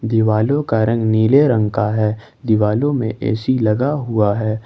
दीवालो का रंग नीले रंग का है दीवालो में ए_सी लगा हुआ है।